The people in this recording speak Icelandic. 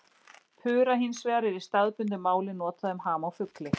pura hins vegar er í staðbundnu máli notað um ham á fugli